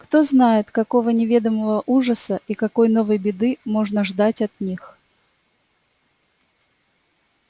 кто знает какого неведомого ужаса и какой новой беды можно ждать от них